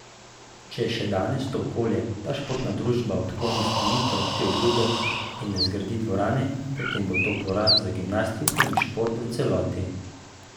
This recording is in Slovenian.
Če še danes to okolje, ta športna družba odkloni izpolnitev te obljube in ne zgradi dvorane, potem bo to poraz za gimnastiko in šport v celoti.